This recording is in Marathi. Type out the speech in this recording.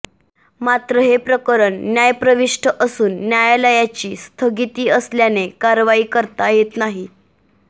मात्र हे प्रकरण न्यायप्रविष्ठ असून न्यायालयाची स्थगिती असल्याने कारवाई करता येत नाही